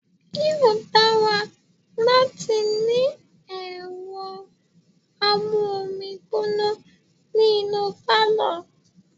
Yóò dára láti ní ẹ̀rọ amú omi gbóná ní inú pálọ̀.